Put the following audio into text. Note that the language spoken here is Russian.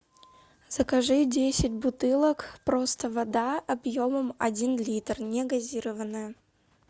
закажи десять бутылок просто вода объемом один литр негазированная